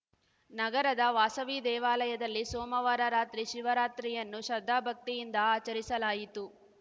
ನಗರದ ವಾಸವಿ ದೇವಾಲಯದಲ್ಲಿ ಸೋಮವಾರ ರಾತ್ರಿ ಶಿವರಾತ್ರಿಯನ್ನು ಶ್ರದ್ಧಾಭಕ್ತಿಯಿಂದ ಆಚರಿಸಲಾಯಿತು